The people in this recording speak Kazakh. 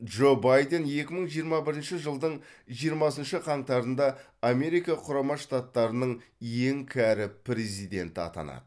джо байден екі мың жиырма бірінші жылдың жиырмасыншы қаңтарында америка құрама штаттарының ең кәрі президенті атанады